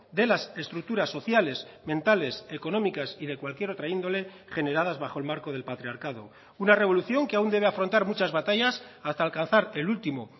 de las estructuras sociales mentales económicas y de cualquier otra índole generadas bajo el marco del patriarcado una revolución que aún debe afrontar muchas batallas hasta alcanzar el último